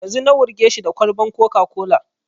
Yanzu na wurge shi da kwalban coca-cola